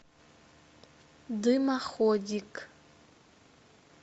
дымоходик